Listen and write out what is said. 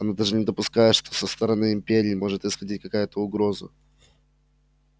он даже не допускает что со стороны империи может исходить какая-то угроза